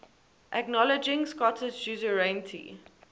acknowledging scottish suzerainty